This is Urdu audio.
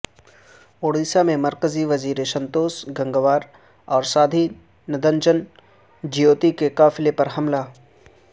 اڑیسہ میں مرکزی وزیر سنتوش گنگوار اور سادھوی نرنجن جیوتی کے قافلے پر حملہ